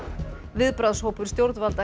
viðbragðshópur stjórnvalda